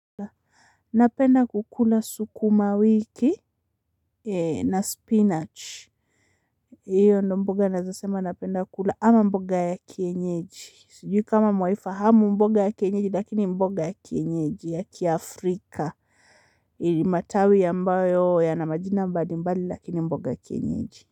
Napenda kukula sukumawiki na spinach. Hiyo ndio mboga nawezasema napenda kukula ama mboga ya kienyeji. Sijui kama mwaifahamu mboga ya kienyeji lakini mboga ya kienyeji ya kiafrika yenye matawi ambayo yana majina mbalimbali lakini mboga ya kienyeji.